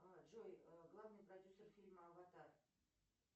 джой главный продюсер фильма аватар